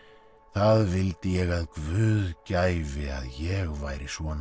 það vildi ég að Guð gæfi að ég væri svona